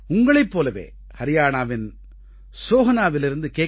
உங்களைப் போலவே ஹரியாணாவின் ஸோஹனாவிலிருந்து கே